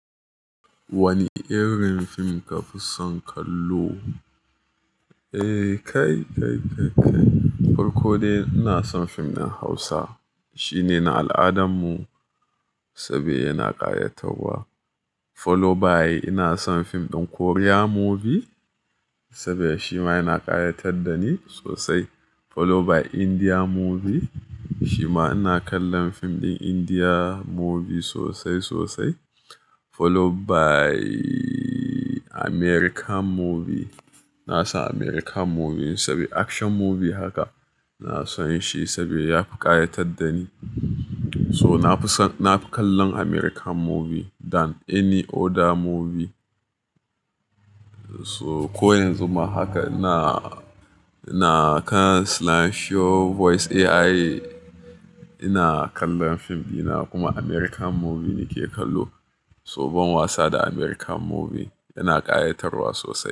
Wanne irin fim kafi son kallo? Eh kai, kai, kai, kai. Farkode ina son fim ɗin Hausa. Shi ne na al'adanmu, saboda yana ƙayatarwa. Follow by ina son fim ɗin Korea movie, saboda shi ma yana ƙayatar da ni sosai. Follow by India movie, shi ma ina kallon fim ɗin India movie sosai, sosai. Follow by American movie. Ina son American movie saboda action movie haka. Ina son shi saboda ya fi ƙayatar da ni. So na fi son, na fi kallon American movie than any other movie. So ko yanzu ma haka ina, ina kan Slansho Voice AI, ina kallon fim ina kuma American movie ne ke kallo. Tsohon wasa da American movie yana ƙayatarwa sosai.